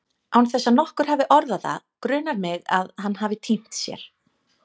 Án þess að nokkur hafi orðað það grunar mig að hann hafi týnt sér.